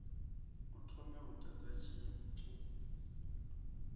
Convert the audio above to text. a thome u ḓadza tshipi